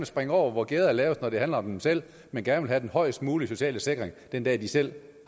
springe over hvor gærdet er lavest når det handler om dem selv men gerne vil have den højst mulige sociale sikring den dag de selv